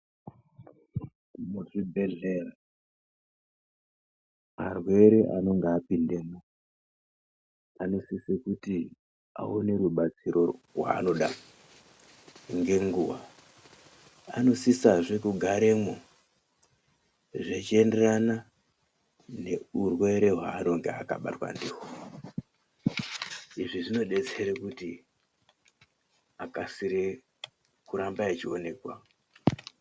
Muzvibhedhleya arwere anenge apindemwo anosise kuti aone rubatsiro rwaanoda ngenguwa. Anosisazve kugaremwo zvichienderana ngeurwere hwaanenge akabatwa ndihwo. Izvi zvodetsere kuti arambe echionekwa.